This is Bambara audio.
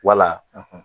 Wala